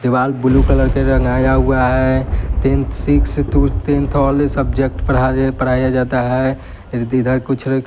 दीवाल blue colour के रंग आया हुआ है tenth six to tenth all subject पढ़ा पढ़ाया जाता है इधर कुछ--